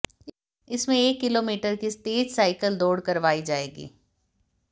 इसमें एक किलोमीटर की तेज साइकिल दौड़ करवाई जाएगी